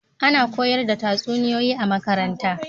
A na koyar da tatsuniyoyi a makaranta